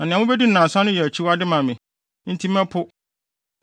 Na nea mubedi no nnansa so no yɛ akyiwade ma me, enti mɛpo.